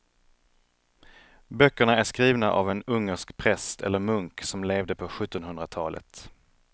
Böckerna är skrivna av en ungersk präst eller munk som levde på sjuttonhundratalet.